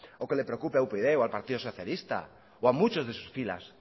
o que le preocupa a upyd o al partido socialista o a muchos de sus filas